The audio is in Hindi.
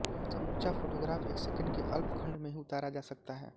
समूचा फोटोग्राफ़ एक सेकेंड के अल्प खंड में ही उतारा जा सकता है